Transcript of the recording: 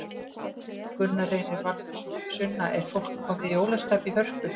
Gunna Reynir Valþórsson: Sunna, er fólk komið í jólaskap í Hörpu?